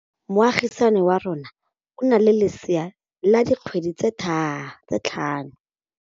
Moagisane wa rona o na le lesea la dikgwedi tse tlhano.